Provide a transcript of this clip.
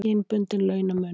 Kynbundinn launamunur.